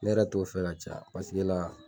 Ne yɛrɛ t'o fɛ ka caya , paseke la